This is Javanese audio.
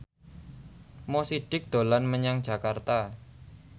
Mo Sidik dolan menyang Jakarta